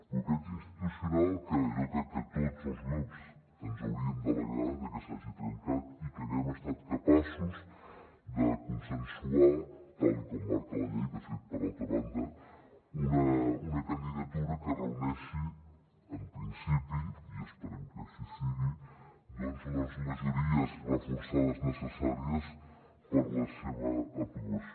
bloqueig institucional que jo crec que tots els grups ens hauríem d’alegrar de que s’hagi trencat i que haguem estat capaços de consensuar tal com marca la llei de fet per altra banda una candidatura que reuneixi en principi i esperem que així sigui doncs les majories reforçades necessàries per a la seva aprovació